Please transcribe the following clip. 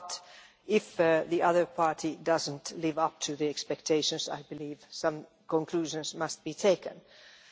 But, if the other party does not live up to expectations, I believe some conclusions must be reached.